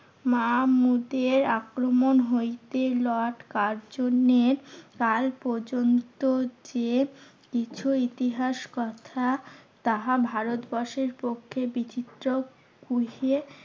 মামুদের আক্রমণ হইতে লর্ড কার্জনের তার পর্যন্ত যে কিছু ইতিহাস কথা তাহা ভারতবর্ষের পক্ষে বিচিত্র খুঁজে